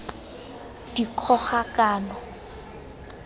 dikgogakano